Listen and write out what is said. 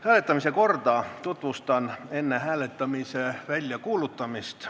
Hääletamise korda tutvustan enne hääletamise väljakuulutamist.